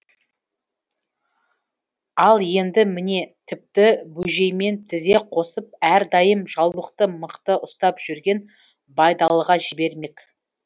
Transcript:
ал енді міне тіпті бөжеймен тізе қосып әрдайым жаулықты мықты ұстап жүрген байдалыға жібермек